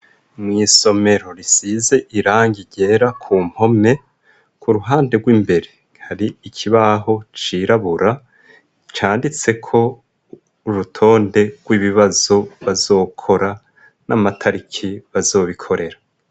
Mwisomero risize irangi ryera ku mpome ku ruhande rwimbere hari ikibaho cirabura canditseko urutonde rw'ibibazo bazokora n'amatariki bazobikorera.